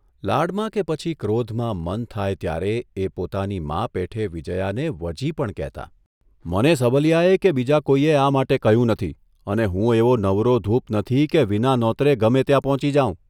લાડમાં કે પછી ક્રોધમાં મન થાય ત્યારે એ પોતાની મા પેઠે વિજયાને' વજી' પણ કહેતા. મને સબલીયાએ કે બીજા કોઇએ આ માટે કહ્યું નથી અને હું એવો નવરોધૂપ નથી કે વિના નોતરે ગમે ત્યાં પહોંચી જાઉં.